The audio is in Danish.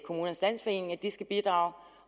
de skal bidrage